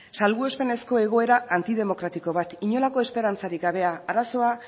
salbuespenezko egoera antidemokratiko bat inolako esperantzarik gabea arazoa